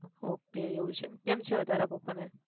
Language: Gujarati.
okay એવું છે કેમ છે હવે તારા પપ્પા ને?